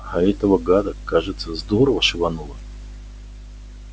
а этого гада кажется здорово шибануло